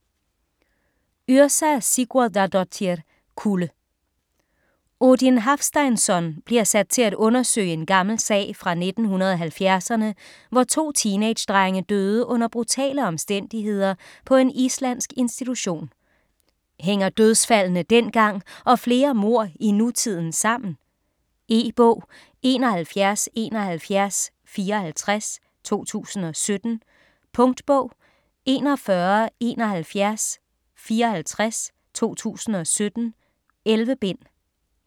Yrsa Sigurðardóttir: Kulde Odin Hafsteinsson bliver sat til at undersøge en gammel sag fra 1970'erne, hvor to teenagedrenge døde under brutale omstændigheder på en islandsk institution. Hænger dødsfaldene dengang og flere mord i nutiden sammen? E-bog 717154 2017. Punktbog 417154 2017. 11 bind.